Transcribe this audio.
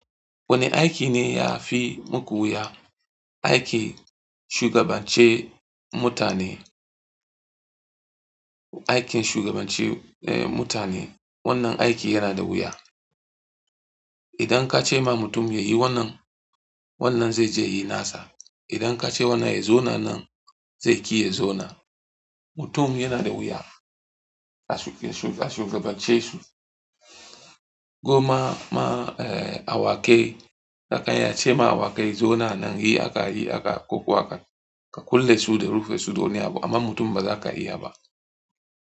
Wane aiki ne ya fi muku wuya? Aikin shugabance mutane. Aikin shugabance mutane, wannan aiki yana da wuya. Idan ka ce ma mutum ya yi wannan, wannan zai je ya yi nasa. Idan ka ce wannan ya zauna nan, zai ƙi ya zauna. Mutum yana da wuya ka shugabance su. Ko ma, ma, eh, awakai ka karya ce ma awakai zo nan nan yi haka, yi haka, ko ko haka, ka kulle su da rufe su, ba don abu, amma mutum ba za ka iya ba.